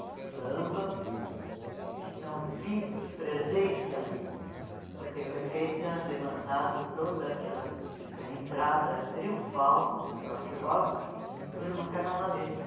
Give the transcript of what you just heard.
do samba estão vivos, presentes ali, porque foi feita, levantada toda aquela a entrada triunfal dos nossos jogos por uma carnavalesca.